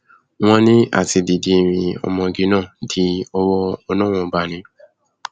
wọn ní àti dídé rin ọmọge náà dí ọwọ ọlọrun ọba ni